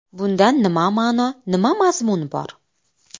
Bundan nima ma’no, nima mazmun bor?